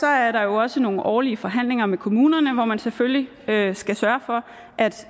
er der også nogle årlige forhandlinger med kommunerne hvor man selvfølgelig skal skal sørge for